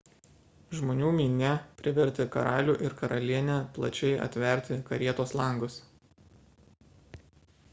žmonių minia privertė karalių ir karalienę plačiai atverti karietos langus